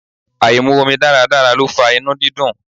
Áì mu omi dáradára ló fa inú dídùn.